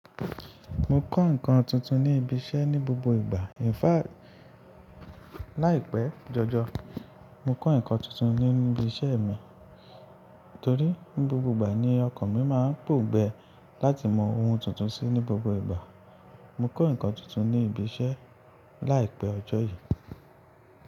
Mo kọ́ nǹkan tuntun ní ibi iṣẹ́ ní gbogbo ìgbà. Ẹ̀fà láìpẹ́ jọjọ́, mo kọ́ nǹkan tuntun ní ibi iṣẹ́ mi, torí ni gbogbo ìgbà ni ọkọ̀ mi máa ń pò gbẹ láti mọ ohun tuntun sí ní gbogbo ìgbà. Mo kọ́ nǹkan tuntun ní ibi iṣẹ́ láìpẹ́ ọjọ́ yìí.